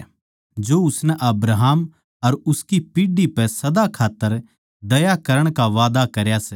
उसनै अब्राहम अर उसकी पीढ़ी पै सदा खात्तर दया करण का वादा करया सै